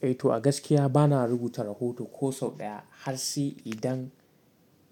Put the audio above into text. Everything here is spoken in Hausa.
Eh to a gaskiya bana rubuta rahoto ko sau ɗaya har sai idan